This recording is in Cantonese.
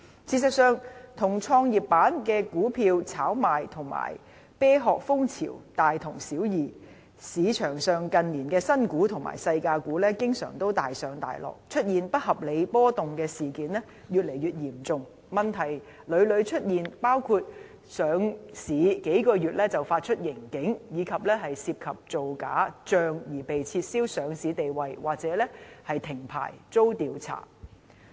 事實上，與創業板的股票炒賣和"啤殼"風潮大同小異，市場上近年的新股和"細價股"經常大上大落，出現不合理波動的事件越來越嚴重，問題屢屢出現，包括上市數個月便發出盈警，以及涉及造假帳而被撤銷上市地位或停牌遭查。